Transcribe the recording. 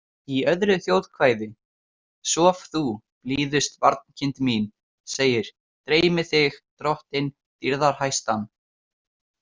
Í öðru þjóðkvæði „Sof þú, blíðust barnkind mín“ segir „Dreymi þig drottin dýrðarhæstan.